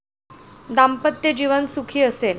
दाम्पत्य जीवन सुखी असेल.